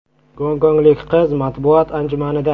Gonkonglik qiz matbuot anjumanida.